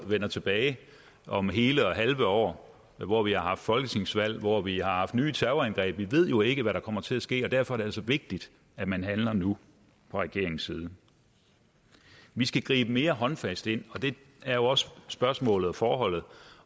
vende tilbage om hele og halve år hvor vi har haft folketingsvalg og hvor vi har haft nye terrorangreb vi ved jo ikke hvad der kommer til at ske og derfor er det altså vigtigt at man handler nu fra regeringens side vi skal gribe mere håndfast ind og det er jo også spørgsmålet og forholdet